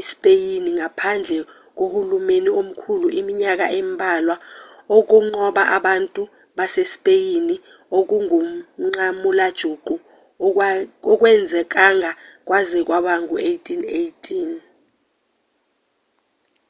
ispeyini ngaphandle kohulumeni omkhulu iminyaka embalwa ukunqoba abantu basespeyini okungumnqamulajuqu akwenzekanga kwaze kwaba ngu-1818